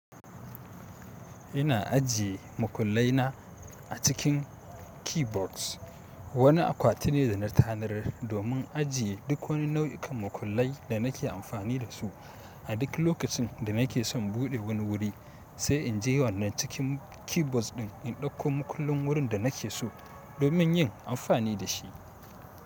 Ina ajiye makullai na a cikin keyboards. Wani akwati ne da na tanadar domin ajiye duk wani nau'ikan makullai da nake amfani da su. A duk lokacin da nake son buɗe wani wuri, sai in je wannan cikin keyboards ɗin, in ɗauko mukullin wurin da nake so domin yin amfani da shi.